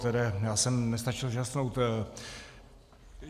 Tedy já jsem nestačil žasnout.